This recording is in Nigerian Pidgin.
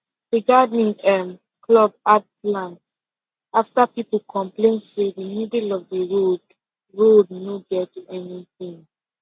the gardening um club add plant after people complain say the middle of the road